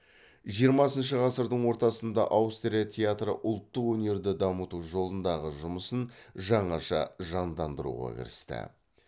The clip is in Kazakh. жиырмасыншы ғасырдың ортасында аустрия театры ұлттық өнерді дамыту жолындағы жұмысын жаңаша жандандыруға кірісті